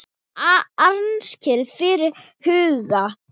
Angist fyllir hugann.